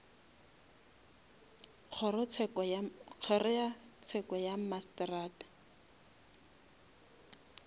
kgoro ya tsheko ya mmasetrata